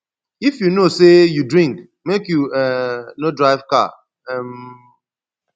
if you know sey you drink make you um no drive car um